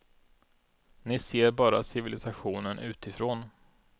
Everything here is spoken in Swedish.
Ni ser bara civilisationen utifrån.